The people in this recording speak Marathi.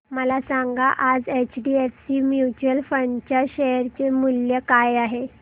मला सांगा आज एचडीएफसी म्यूचुअल फंड च्या शेअर चे मूल्य काय आहे